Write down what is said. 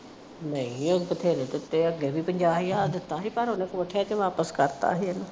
ਨਹੀ ਉਹਨੇ ਅੱਗੇ ਬੇਥਰੇ ਦਿੱਤੇ । ਅੱਗੇ ਵੀ ਪੰਜਾਹ ਹਜ਼ਾਰ ਦਿੱਤਾ ਸੀ ਪਰ ਉਨੇ ਵਾਪਸ ਕਰਤਾ ਸੀ ਇਹਨੂੰ।